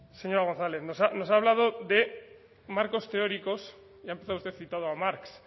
señora gonzález nos ha hablado de marcos teóricos y ha empezado usted citando a marx